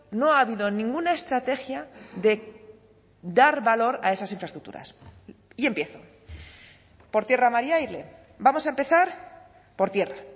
no ha habido ninguna estrategia de dar valor a esas infraestructuras y empiezo por tierra mar y aire vamos a empezar por tierra